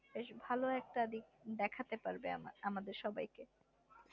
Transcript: বেশ ভালো একটা দিক দেখতে পারবে আমাদের সবাইকে